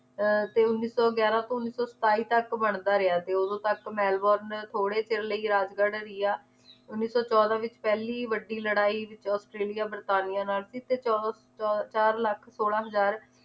ਤੇ ਉੱਨੀ ਸੌ ਗਿਆਰਾਂ ਤੋਂ ਉੱਨੀ ਸੌ ਸਤਾਈ ਤਕ ਬਣਦਾ ਰਿਆ ਤੇ ਓਦੋਂ ਤੱਕ ਮੈਲਬੋਰਨ ਥੋੜੇ ਚਿਰ ਲਈ ਰਾਜਗੜ੍ਹ ਰਿਆ ਉੱਨੀ ਸੌ ਚੋਦਾਂ ਵਿਚ ਪਹਿਲੀ ਵੱਡੀ ਲੜਾਈ ਆਸਟ੍ਰੇਲੀਆ ਵਰਤਾਨੀਆ ਨਾਲ ਸੀ ਤੇ ਚੌ~ ਚੌ~ ਚਾਰ ਲੱਖ ਸੋਲਾਂ ਹਰ